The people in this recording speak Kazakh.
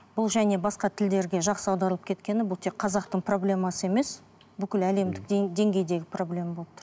бұл және басқа тілдерге жақсы аударылып кеткені бұл тек қазақтың проблемасы емес бүкіл әлемдік деңгейдегі проблема болып тұр